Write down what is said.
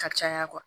Ka caya